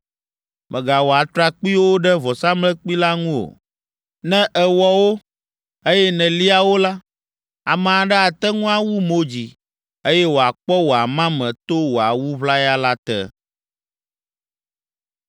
Mègawɔ atrakpuiwo ɖe vɔsamlekpui la ŋu o. Ne èwɔ wo, eye nèlia wo la, ame aɖe ate ŋu awu mo dzi, eye wòakpɔ wò amame to wò awu ʋlaya la te.’